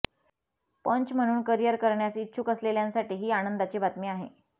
पंच म्हणून करीअर करण्यास इच्छुक असलेल्यांसाठी ही आनंदाची बातमी आहे